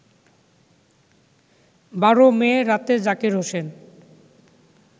১২ May রাতে জাকের হোসেন